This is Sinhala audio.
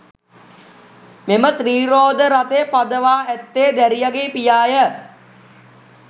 මෙම ත්‍රිරෝද රථය පදවා ඇත්තේ දැරියගේ පියාය.